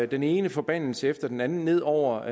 den ene forbandelse efter den anden ned over